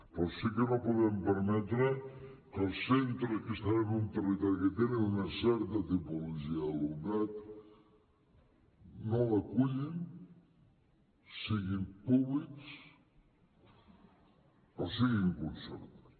però sí que no podem permetre que els centres que estan en un territori que té una certa tipologia d’alumnat no l’acullin siguin públics o siguin concertats